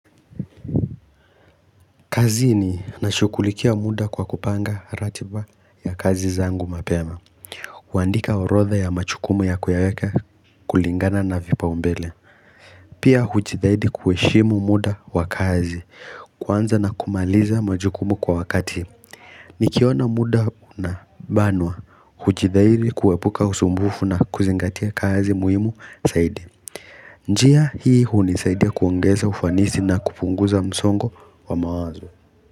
Kazi ni nashughulikia muda kwa kupanga ratiba ya kazi zangu mapema kuandika orodha ya majukumu ya kuyaweka kulingana na vipaombele Pia hujithahidi kuheshimu muda wa kazi kwanza na kumaliza majukumu kwa wakati Nikiona muda unabanwa hujithahidi kuepuka usumbufu na kuzingatia kazi muhimu zaidi njia hii hunisaidi kuongeza ufanisi na kupunguza msongo wa mawazo.